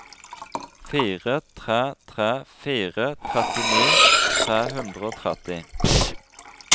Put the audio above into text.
fire tre tre fire trettini tre hundre og tretti